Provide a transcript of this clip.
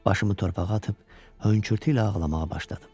Başımı torpağa atıb hönkürtü ilə ağlamağa başladım.